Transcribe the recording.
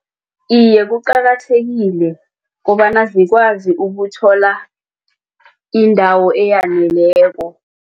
Iye, kuqakathekile kobana zikwazi ukuthola indawo eyaneleko.